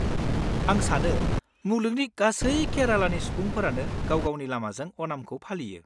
आं सानो मुलुगनि गासै केरालानि सुबुंफोरानो गाव-गावनि लामाजों अनामखौ फालियो।